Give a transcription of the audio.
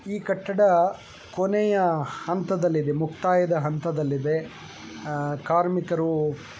ಚಿತ್ರಾ ಮೇ ಬಹುತ್ ಸೆ ವ್ಯಕ್ತಿ ಕಟ್ಟಡ ಕಾ ಕಾಮ್ ಕರ್ತೇ ಹುಯೇ ನಜರ್ ಎ ರಹೇ ಹೈ ಔರ್ ಬಹುತ್ ಖುಬ್ಸುರತ್ ಲಗ್ ರಹಾ ಹೈ ಸಾಬ್